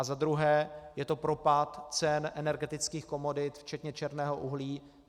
A za druhé je to propad cen energetických komodit včetně černého uhlí.